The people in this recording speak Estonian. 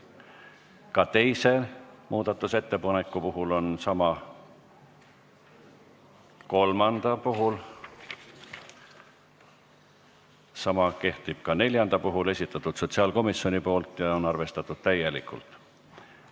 Ka teise muudatusettepaneku puhul on sama ja kolmanda puhul, sama kehtib ka neljanda puhul, esitatud sotsiaalkomisjoni poolt ja arvestatud täielikult.